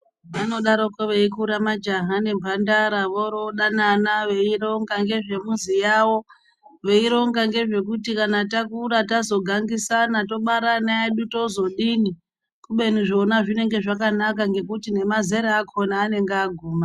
Vanodarokwo veikura majaha nemhandara, vorodanana veironga ngezve muzi yavo, veironga nezvekuti kana takura tazogangisana tobara ana edu tozodini kubeni zvona zvinenge zvakanaka ngekuti nemazera akhona anenge aguma.